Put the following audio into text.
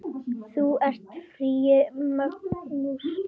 Þú ert í fríi, manstu?